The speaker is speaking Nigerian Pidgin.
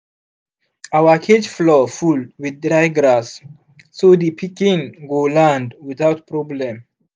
our cage floor full with dry grass so the pikin go land without problem